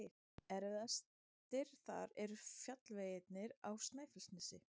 Erfiðastir þar eru fjallvegirnir á Snæfellsnesi.